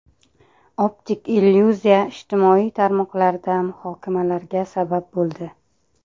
Optik illyuziya ijtimoiy tarmoqlarda muhokamalarga sabab bo‘ldi.